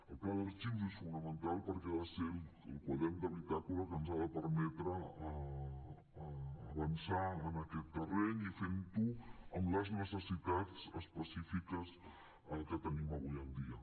el pla d’arxius és fonamental perquè ha de ser el quadern de bitàcola que ens ha de permetre avançar en aquest terreny i fent ho amb les necessitats específiques que tenim avui en dia